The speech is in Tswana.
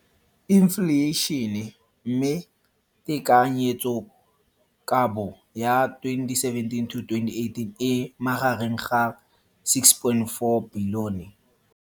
Infleišene, mme tekanyetsokabo ya 2017, 18, e magareng ga R6.4 bilione.